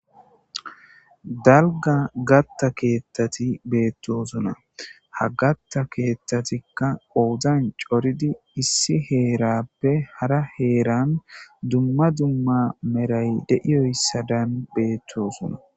dalga gatta keettati beettosuna ha gatta keettatikka oozan coridi issi heerappe hara heeran dumma dumma meray de7iyoyssadan beettosuna